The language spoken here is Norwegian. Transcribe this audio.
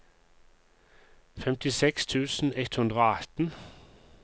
femtiseks tusen ett hundre og atten